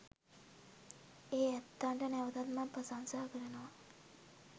ඒ ඇත්තන්ට නැවතත් මා ප්‍රශංසා කරනවා